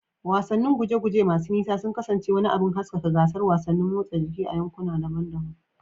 Wasannin guje-guje masu nisa sun kasance wani abin haskaka gasar wasannin motsa jiki a yankuna daban-daban.